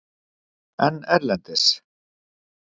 En erlendis?